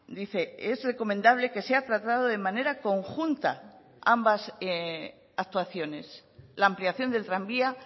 dice es recomendable que sea tratado de manera conjunta ambas actuaciones la ampliación del tranvía